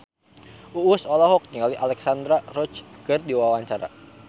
Uus olohok ningali Alexandra Roach keur diwawancara